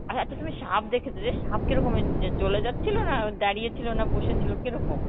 হ্যাঁ তো তুমি সাপ দেখেছো যে সাপ কিরকমের য~ চলে যাচ্ছিল, না দাঁড়িয়ে ছিল, না বসেছিল, কিরকম?